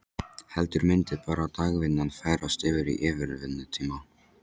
Heldur myndi bara dagvinnan færast yfir í yfirvinnutíma?